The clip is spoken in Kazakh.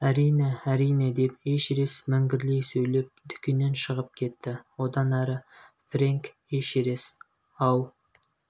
әрине әрине деп эшерест міңгірлей сөйлеп дүкеннен шығып кетті одан әрі фрэнк эшерест ау